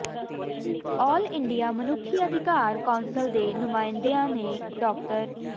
ਆਲ India ਮਨੁੱਖੀ ਅਧਿਕਾਰ council ਦੇ ਨੁਮਾਇੰਦਿਆਂ ਨੇ ਡਾ